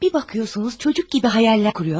Bir baxırsınız uşaq kimi xəyallar qurur.